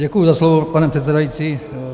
Děkuji za slovo, pane předsedající.